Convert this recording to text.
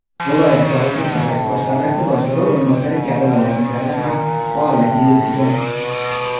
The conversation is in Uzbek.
viloyat sog‘liqni saqlash boshqarmasi boshlig‘i o‘rinbosari kabi lavozimlarda ham faoliyat yuritgan.